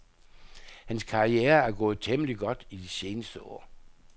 Hans karriere er gået temmeligt godt i de seneste år.